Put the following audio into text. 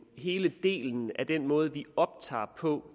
hele delen af den måde vi optager på